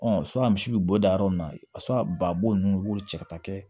misi bɛ bɔ da yɔrɔ min na babo ninnu i b'o cɛ ka taa kɛ